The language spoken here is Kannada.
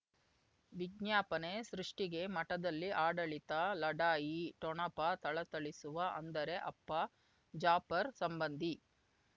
ವಿಜ್ಞಾಪನೆ ಸೃಷ್ಟಿಗೆ ಮಠದಲ್ಲಿ ಆಡಳಿತ ಲಢಾಯಿ ಠೊಣಪ ಥಳಥಳಿಸುವ ಅಂದರೆ ಅಪ್ಪ ಜಾಫರ್ ಸಂಬಂಧಿ